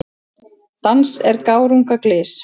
Dans er gárunga glys.